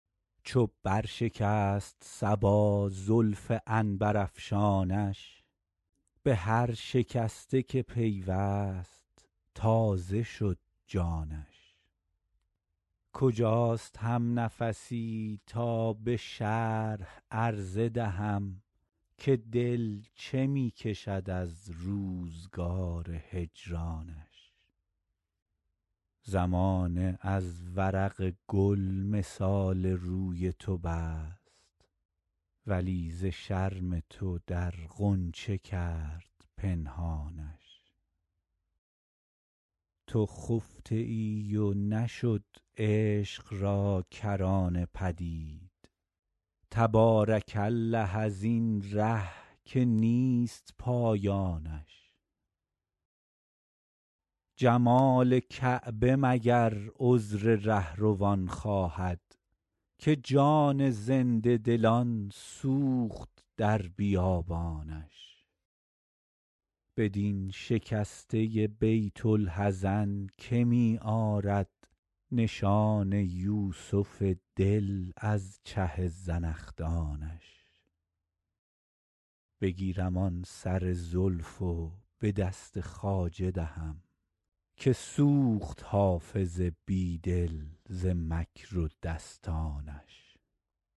چو بر شکست صبا زلف عنبرافشانش به هر شکسته که پیوست تازه شد جانش کجاست همنفسی تا به شرح عرضه دهم که دل چه می کشد از روزگار هجرانش زمانه از ورق گل مثال روی تو بست ولی ز شرم تو در غنچه کرد پنهانش تو خفته ای و نشد عشق را کرانه پدید تبارک الله از این ره که نیست پایانش جمال کعبه مگر عذر رهروان خواهد که جان زنده دلان سوخت در بیابانش بدین شکسته بیت الحزن که می آرد نشان یوسف دل از چه زنخدانش بگیرم آن سر زلف و به دست خواجه دهم که سوخت حافظ بی دل ز مکر و دستانش